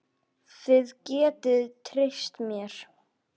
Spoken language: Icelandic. Þið getið treyst mér.